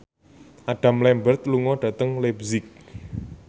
Adam Lambert lunga dhateng leipzig